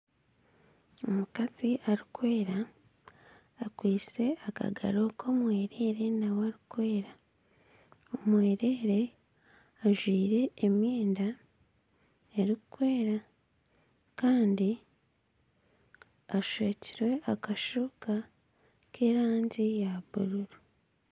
Omukazi arikwera akwitse akagaro k'omwereere nawe arikwera, omwereere ajwaire emyenda erikwera kandi ashwekirwe akashuuka k'erangi ya buruuru.